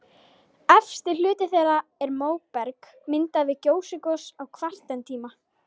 Efsti hluti þeirra er móberg, myndað við gjóskugos á kvartertíma.